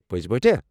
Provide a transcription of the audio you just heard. پٔزۍ پٲٹھۍ ہا!؟